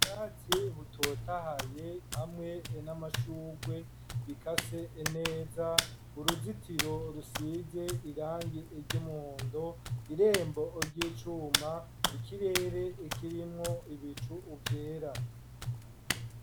Ubwatsi butotahaye hamwe n'amashugwe bikase neza, uruzitiro rusize irangi ry'umuhondo, irembo ry'icuma, ikirere kirimwo ibicu vyera.